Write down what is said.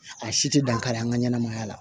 A si tɛ dankari an ka ɲɛnamaya la